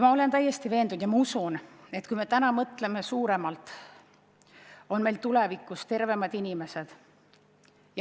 Ma olen täiesti veendunud, et kui me täna mõtleme suuremalt, siis on meil tulevikus tervemad inimesed.